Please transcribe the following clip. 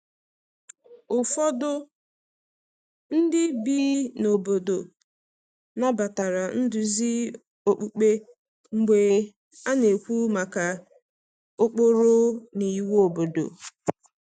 Ụfọdụ ndị bi na obodo nabatara nduzi okpukpe mgbe a na-ekwu maka ụkpụrụ na iwu obodo.